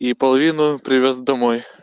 и половину привёз домой